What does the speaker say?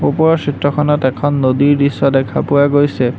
ওপৰৰ চিত্ৰখনত এখন নদীৰ দৃশ্য দেখা পোৱা গৈছে।